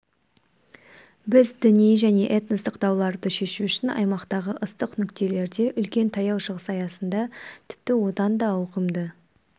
біз діни және этностық дауларды шешу үшін аймақтағы ыстық нүктелерде үлкен таяу шығыс аясында тіпті одан да ауқымды